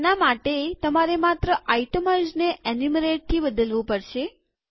તેના માટે તમારે માત્ર આઈટમાઈઝને એન્યુમરેટથી બદલવું પડશે